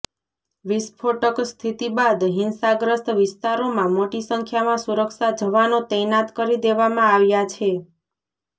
વિસ્ફોટક સ્થિતિ બાદ હિંસાગ્રસ્ત વિસ્તારોમાં મોટી સંખ્યામાં સુરક્ષા જવાનો તૈનાત કરી દેવામાં આવ્યા છે